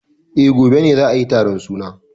Eh, gobe ne za ayi taron suna.